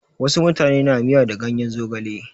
Wasu mutane na miya da ganyen zogale.